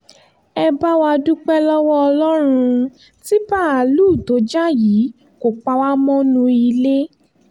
ẹ bá wa dúpẹ́ lọ́wọ́ ọlọ́run tí báàlúù tó jà yìí kò pa wá mọ́nú ilé